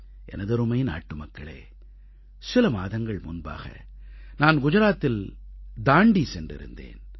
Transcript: எனதருமை நாட்டுமக்களே சில மாதங்கள் முன்பாக நான் குஜராத்தில் தாண்டீ சென்றிருந்தேன்